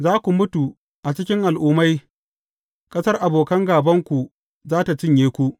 Za ku mutu a cikin al’ummai, ƙasar abokan gābanku za tă cinye ku.